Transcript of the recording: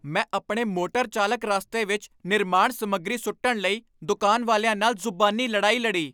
ਮੈਂ ਆਪਣੇ ਮੋਟਰ ਚਾਲਕ ਰਾਸਤੇ ਵਿੱਚ ਨਿਰਮਾਣ ਸਮੱਗਰੀ ਸੁੱਟਣ ਲਈ ਦੁਕਾਨ ਵਾਲਿਆਂ ਨਾਲ ਜ਼ੁਬਾਨੀ ਲੜਾਈ ਲੜੀ।